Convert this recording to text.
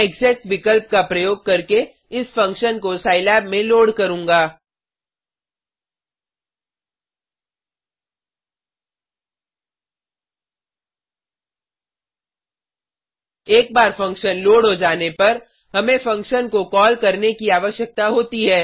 मैं एक्सेक विकल्प का प्रयोग करके इस फंक्शन को सिलाब में लोड करूँगा एक बार फंक्शन लोड हो जाने पर हमें फंक्शन को कॉल करने की आवश्यकता होती है